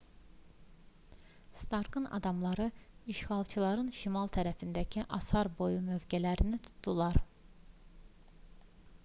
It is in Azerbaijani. starkın adamları işğalçıların şimal tərəfindəki asar boyu mövqelərini tutdular